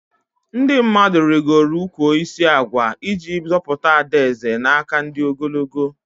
Ndị mmadụ rigoro ụkwụ osisi agwa iji zọpụta Ada Eze na aka ndị ogologo